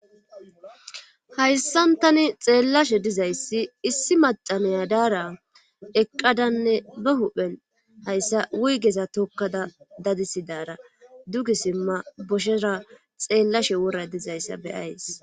Hayssan tani xeellashe dizayssi issi macaneya daara eqqadanne ne huphen hayssa wuygeza tokkada dadisidaara dugi simma boshera xeellashe wora dizayssa beyays.